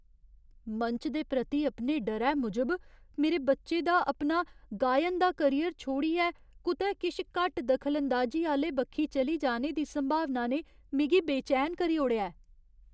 मंच दे प्रति अपने डरै मूजब मेरे बच्चे दी अपना गायन दा करियर छोड़ियै कुतै किश घट्ट दखलांदाजी आह्‌ले बक्खी चली जाने दी संभावना ने मिगी बेचैन करी ओड़ेआ ऐ ।